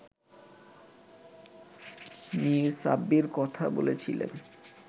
মির সাব্বির কথা বলেছিলেন